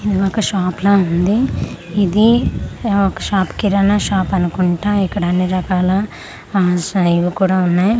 ఇది ఒక షాప్ ల ఉంది ఇది ఒక షాప్ కిరాణా షాప్ అనుకుంటా ఇక్కడ అన్నీ రకాల అఅ జా ఇవి కూడా ఉన్నాయి అలా--